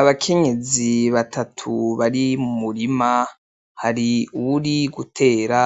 Abakenyezi batatu bari mumurima, hari uwuri gutera,